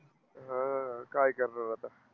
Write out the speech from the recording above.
हा, काय करणार आता?